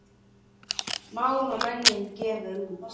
Mál og menning gefur út.